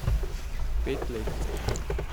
Pet let.